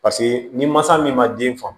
Paseke ni mansa min ma den faamu